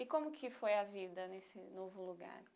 E como que foi a vida nesse novo lugar?